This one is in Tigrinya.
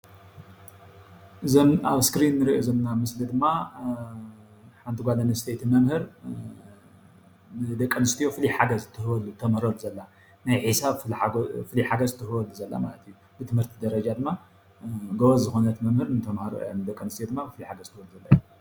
እዞም ኣብ እስክሪን እንሪኦ ዘለና ምስሊ ድማ ሓንቲ ጓል አነስተይቲ መምህር ንደቂ ኣነስትዮ ፍሉይ ሓገዝ እትህበሉ እተምህረሉ ዘላ ናይ ሒሳብ ፍሉይ ሓገዝ እትህበሉ ዘላ ማለት እዩ፡፡ ብትምህርቲ ደረጃ ድማ ጎበዝ ዝኮነት መምህር ድማ ንተማሃሮኣ ንደቂ ኣነስትዮ ፍሉይ ሓገዝ ትህብ ዘላ፡፡